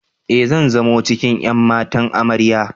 E, zan zamo cikin ƴan matan Amarya.